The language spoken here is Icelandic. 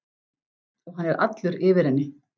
Og hann er allur yfir henni.